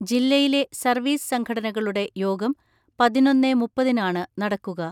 ജില്ലയിലെ സർവീസ് സംഘടനകളുടെ യോഗം പതിനൊന്നേ മുപ്പതിനാണ് നടക്കുക.